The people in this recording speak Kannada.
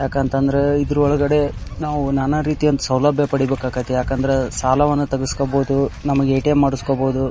ಯಾಕಂತ ಅಂತ ಅಂದ್ರೆ ಇದ್ರಒಳಗಡೆ ನಾವು ನಾನಾರೀತಿಯ ಸೌಲಭ್ಯ ಪಡಿಬೇಕಾದಿತಿ ಯಾಕಂದ್ರೆ ಸಾಲವನ್ನು ತಗಸ್ಕೊಬಹುದು ನಮಗ್ ಏ.ಟಿ.ಎಮ್. ಮಾಡಸ್ಕೊಬೊದು .